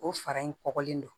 O fara in kɔkɔlen don